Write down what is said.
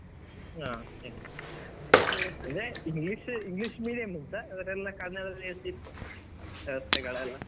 ಹ ಅಂದ್ರೆ English English medium ಗಿಂತ ಆದ್ರೆ ಎಲ್ಲ ಕನ್ನಡದಲ್ಲಿ ಇರ್ತಿತು ವ್ಯವಸ್ಥೆ ಗಳೆಲ್ಲಾ.